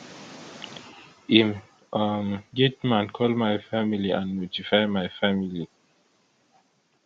im um gateman call my family and notify my family